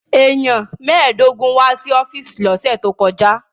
Èèyàn mẹ́ẹ̀ẹ́dógún wá sí ọ́fíìsì lọ́sẹ̀ tó kọjá